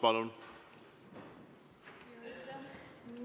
Palun!